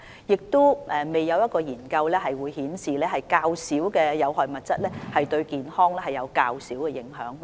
而且，現時亦未有研究顯示，有關吸煙產品所含的有害物質較少就對健康有較少的影響。